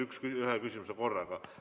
Teeme ainult ühe küsimuse korraga.